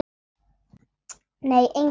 Nei, enginn